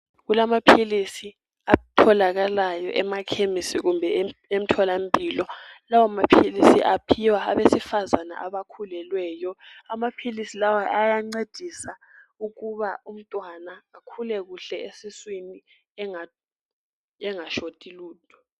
Kulamaphilisi atholakalayo emakhemisi kumbe emtholampilo lawo maphilisi aphiwa abesifazana abakhulelweyo amaphilisi lawa ayancedisa umntwana ukuba akhule kahle esiswini engasweli lutho.